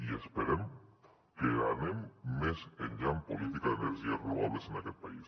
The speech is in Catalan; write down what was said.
i esperem que anem més enllà en política d’energies renovables en aquest país